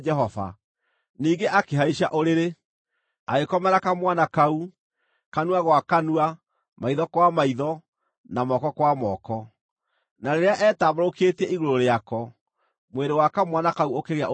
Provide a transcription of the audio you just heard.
Ningĩ akĩhaica ũrĩrĩ, agĩkomera kamwana kau, kanua gwa kanua, maitho kwa maitho, na moko kwa moko. Na rĩrĩa eetambũrũkĩtie igũrũ rĩako, mwĩrĩ wa kamwana kau ũkĩgĩa ũrugarĩ.